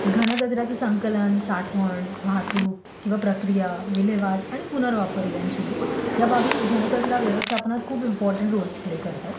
घन कचऱ्याचं संकलन, साठवण, वाहतूक किंवा प्रक्रिया विल्हेवाट आणि पुनर्वापर इव्हेन्च्युअली ह्या बाबी घनकचरा व्यवस्थापनात खूप इम्पॉर्टन्ट रोल प्ले करतात